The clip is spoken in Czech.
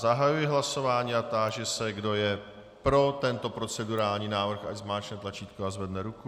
Zahajuji hlasování a táži se, kdo je pro tento procedurální návrh, ať zmáčkne tlačítko a zvedne ruku.